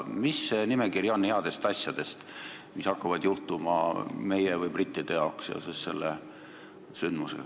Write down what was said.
Milline on nimekiri headest asjadest, mis hakkavad juhtuma meie või brittidega selle sündmuse valguses?